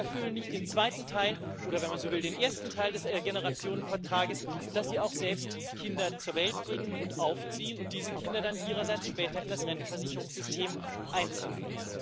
Aber sie erfüllen nicht den zweiten Teil oder wenn man so will, den ersten Teil des Generationenvertrags, dass sie auch selbst Kinder zur Welt bringen und aufziehen und diese Kinder dann ihrerseits später in das Rentenversicherungssystem einzahlen.